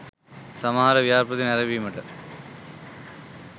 සමහර ව්‍යාපෘති නැරඹීමට